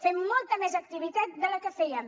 fem molta més activitat de la que fèiem